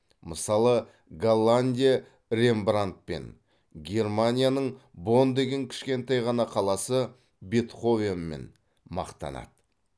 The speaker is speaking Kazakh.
мысалы голландия рембрандтпен германияның бонн деген кішкентай ғана қаласы бетховенімен мақтанады